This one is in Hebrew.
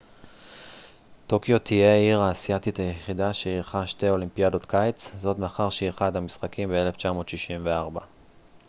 טוקיו תהיה העיר האסיאתית היחידה שאירחה שתי אולימפיאדות קיץ זאת מאחר שאירחה את המשחקים ב 1964